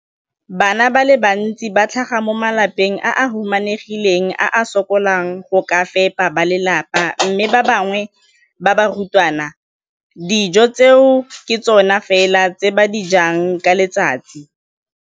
Bana ba le bantsi ba tlhaga mo malapeng a a humanegileng a a sokolang go ka fepa ba lelapa mme ba bangwe ba barutwana, dijo tseo ke tsona fela tse ba di jang ka letsatsi.